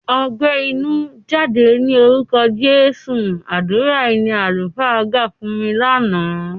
"Ọgbẹ́ inú, jáde lórúkọ Jésù!" Àdúrà yìí ni àlùfáà gbà fún mi lánàá.